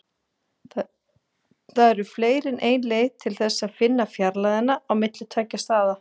Það eru fleiri en ein leið til þess að finna fjarlægðina á milli tveggja staða.